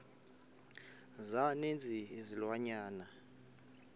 za ninzi izilwanyana